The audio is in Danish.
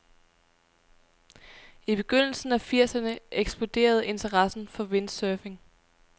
I begyndelsen af firserne eksploderede interessen for windsurfing.